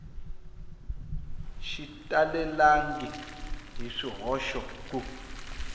xi talelangi hi swihoxo ku